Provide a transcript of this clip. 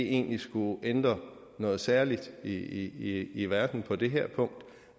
egentlig skulle ændre noget særligt i i verden på det her punkt